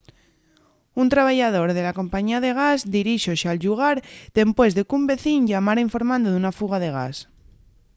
un trabayador de la compañía de gas dirixóse al llugar dempués de qu’un vecín llamara informando d’una fuga de gas